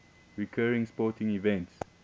recurring sporting events